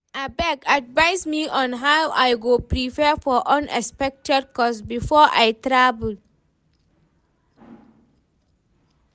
abeg advice me on how I go prepare for unexpected cost before I travel.